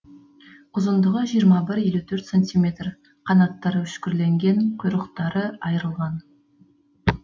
ұзындығы жиырма бір елі төрт сантиметр қанаттары үшкірленген құйрықтары айрланған